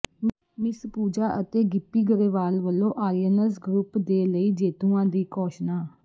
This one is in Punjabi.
ਮਿਸ ਪੂਜਾ ਅਤੇ ਗਿੱਪੀ ਗਰੇਵਾਲ ਵਲੋਂ ਆਰੀਅਨਜ਼ ਗਰੁੱਪ ਦੇ ਲਈ ਜੇਤੂਆਂ ਦੀ ਘੋਸ਼ਣਾ